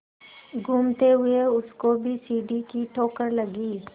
घूमते हुए उसको भी सीढ़ी की ठोकर लगी